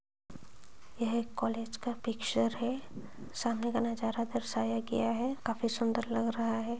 यह कॉलेज का पिक्चर है सामने का नजारा दर्शाया गया है काफी सुन्दर लग रहा है।